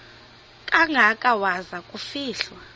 kangaka waza kufihlwa